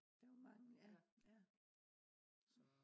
der var mange ja ja